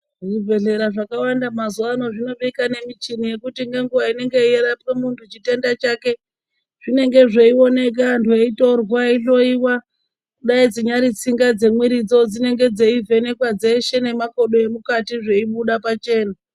Zvibhedhera zvakawanda mazuwa ano zvinobika nemichini yekuti ngenguwa inenge yeirapwe munthu chitenda chake zvinenge zveioneka anthu eitorwa eihloiwa dai dzinyari tsinga dzemwiridzo dzinenge dzeivhenekwa dzeshe nemakodo emukati zveibuda pachena.